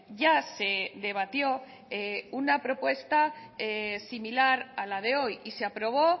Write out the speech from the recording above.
ya se debatió una propuesta similar a la de hoy y se aprobó